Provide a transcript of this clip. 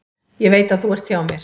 Ég veit að þú ert hjá mér.